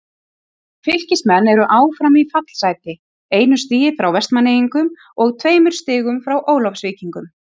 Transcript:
Fylkismenn eru áfram í fallsæti, einu stigi frá Vestmannaeyingum og tveimur stigum frá Ólafsvíkingum.